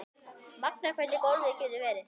Magnað hvernig golfið getur verið.